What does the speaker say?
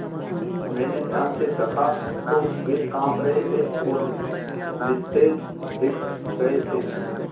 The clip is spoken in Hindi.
मैंने ध्यान से दखा तो वे काँप रहे थे और निस्तेज दिख रहे थे